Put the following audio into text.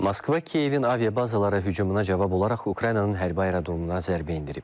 Moskva Kiyevin aviabazalarına hücumuna cavab olaraq Ukraynanın hərbi aerodromuna zərbə endirib.